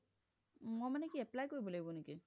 মই মানে কি apply কৰিব লাগিব নেকি ?